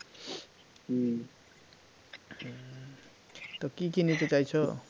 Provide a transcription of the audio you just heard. তো কি কি নিতে চাইছ?